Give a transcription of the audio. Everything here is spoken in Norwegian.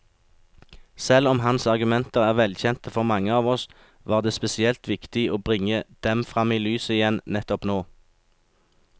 Selv om hans argumenter er velkjente for mange av oss, var det spesielt viktig å bringe dem frem i lyset igjen nettopp nå.